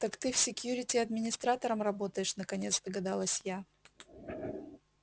так ты в секьюрити администратором работаешь наконец догадалась я